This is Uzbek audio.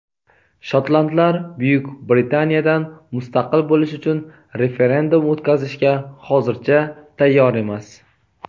Shotlandlar Buyuk Britaniyadan mustaqil bo‘lish uchun referendum o‘tkazishga hozircha tayyor emas.